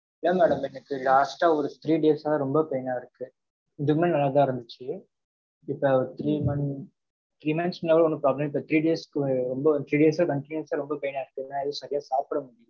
இல்ல madam எனக்கு, last ஆ, ஒரு three days ஆ, ரொம்ப pain ஆ இருக்கு. இதுக்கு முன்னாடி நல்லாதான் இருந்துச்சு. இப்ப ஒரு three month, three months முன்ன ஒண்ணும் problem. இப்ப three days க்கு ரொம்ப three days ஆ, continuous ஆ, ரொம்ப pain ஆ இருக்கு. எதுவும் சரியா சாப்பிட முடி.